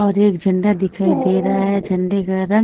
और एक झंडा दिखाई दे रहा हैं झंडे का रंग --